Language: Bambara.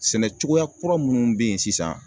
Sɛnɛ cogoya kura minnu bɛ yen sisan